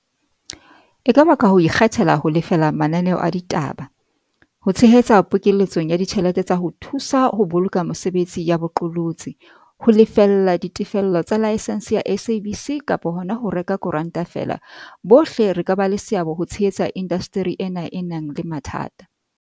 E ka ba ka ho ikgethela ho lefela mananeo a ditaba, ho tshehetsa pokele tsong ya ditjhelete tsa ho thu sa ho boloka mesebetsi ya bo qolotsi, ho lefella ditefello tsa laesense ya SABC kapa hona ho reka koranta feela, bohle re ka ba le seabo ho tshehetsa indasteri ena e nang le mathata.